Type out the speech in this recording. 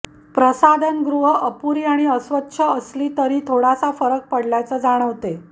प्रसाधनगृहं अपुरी आणि अस्वच्छच असली तरी थोडासा फरक पडल्याचे जाणवते